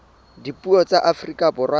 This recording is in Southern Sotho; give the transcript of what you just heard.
dipuo tsa afrika borwa tsa